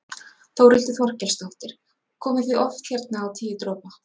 Þórhildur Þorkelsdóttir: Komið þið oft hérna á Tíu dropa?